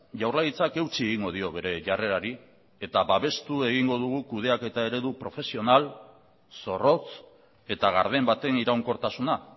jaurlaritzak eutsi egingo dio bere jarrerari eta babestu egingo dugu kudeaketa ere profesional zorrotz eta garden baten iraunkortasuna